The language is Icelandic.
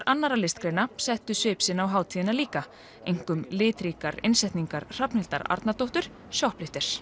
annarra listgreina settu svip sinn á hátíðina líka einkum litríkar innsetningar Hrafnhildar Arnardóttur